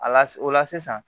Ala o la sisan